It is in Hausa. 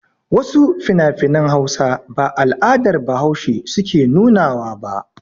Wasu finafinan Hausa ba al'adar Bahaushe suke nuna wa ba.